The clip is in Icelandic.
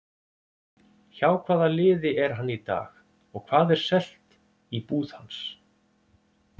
Hjá hvaða liði er hann í dag og hvað er selt í búð hans?